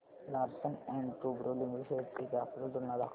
Larsen and टुर्बो limited shares ची graphical तुलना दाखव